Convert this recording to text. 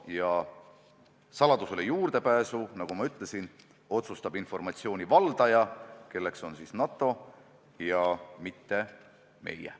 Ja saladusele juurdepääsu, nagu ma ütlesin, otsustab informatsiooni valdaja, st NATO, mitte meie.